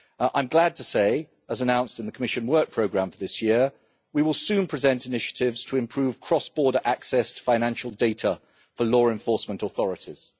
I am glad to say, as announced in the Commission work programme for this year, we will soon present initiatives to improve cross border access to financial data for law enforcement authorities.